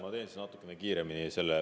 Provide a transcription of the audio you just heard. Ma teen siis natuke kiiremini.